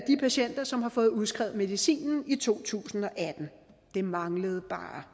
patienter som har fået udskrevet medicinen i to tusind og atten det manglede bare